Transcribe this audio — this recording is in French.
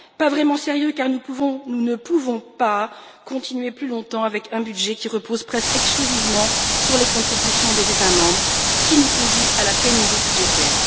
Pas vraiment sérieux car nous ne pouvons pas continuer plus longtemps avec un budget qui repose presque exclusivement sur les contributions des États membres, qui nous conduisent à la pénurie budgétaire.